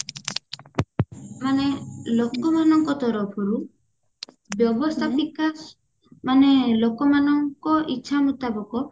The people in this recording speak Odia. ମାନେ ଲୋକମାନଙ୍କ ତରଫରୁ ବ୍ୟବସ୍ତାପିକା ମାନେ ଲୋକମାନଙ୍କ ଇଛା ମୁତାବକ